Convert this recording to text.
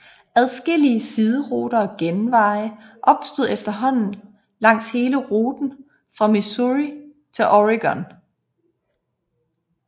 Adskillige sideruter og genveje opstod efterhånden langs hele ruten fra Missouri til Oregon